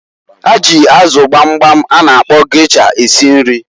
Ha ji azụ gbamgbam a na akpọ gesha esi nri.